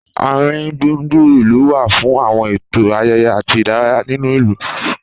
Àringbùngbùn ìlú wá fún àwọn ètò, ayẹyẹ àti ìdárayá nínú ìlú